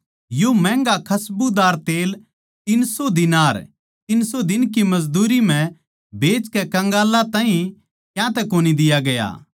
यो महँगा खसबूदार तेल तीन सौ दीनार तीन सौ दिन की मजदूरी म्ह बेचकै कंगालां ताहीं क्यातै कोनी दिया गया